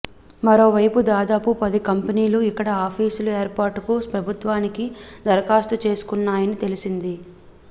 మరోవైపు దాదాపు పది కంపెనీలు ఇక్కడ ఆఫీసుల ఏర్పాటుకు ప్రభుత్వానికి దరఖాస్తు చేసుకున్నాయని తెలిసింది